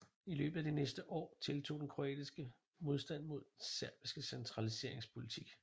I løbet af de næste år tiltog den kroatiske modstand mod den serbiske centraliseringspolitik